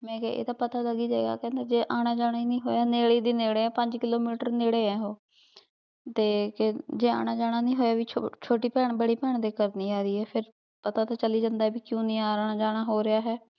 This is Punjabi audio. ਮੈਂ ਕੇਹਾ ਆਯ ਤਾਂ ਪਤਾ ਲਾਗ ਈ ਜੇ ਗਾਯ ਗਾ ਕਹੰਦਾ ਆਨਾ ਜਾਣਾ ਈ ਨਾਈ ਹੋਯਾ ਨੀਰੇ ਦੀ ਨੀਰੇ ਆ ਪੰਜ kilometer ਨੀਰੇ ਆ ਓਹੋ ਤੇ ਜੇ ਆਨਾ ਜਾਣਾ ਨਹੀ ਹੋਯਾ ਚੋਟੀ ਪੈਣ ਬਾਰੀ ਪੈਣ ਦੇ ਗਹਰ ਨਾਈ ਆ ਰਹੀ ਆਯ ਫੇਰ ਪਤਾ ਤੇ ਚਲ ਈ ਜਾਂਦਾ ਆਯ ਭੀ ਕ੍ਯੂ ਨਾਈ ਆਨਾ ਜਾਣਾ ਹੋ ਰਯ ਆਯ